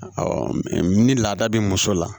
ni laada bi muso la